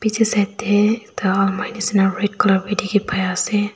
etu side te aru ekta manu jisna red colour bhi dekhi pai ase.